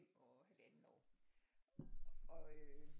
Og 1,5 år og øh